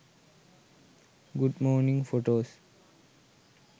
good morning photos